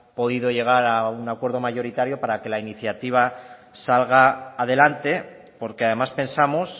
podido llegar a un acuerdo mayoritario para que la iniciativa salga adelante porque además pensamos